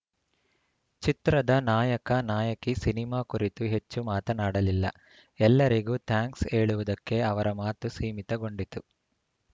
ಚಿತ್ರದ ನಾಯಕ ನಾಯಕಿ ಸಿನಿಮಾ ಕುರಿತು ಹೆಚ್ಚು ಮಾತನಾಡಲಿಲ್ಲ ಎಲ್ಲರಿಗೂ ಥಾಂಕ್ಸ್‌ ಹೇಳುವುದಕ್ಕೆ ಅವರ ಮಾತು ಸೀಮಿತಗೊಂಡಿತು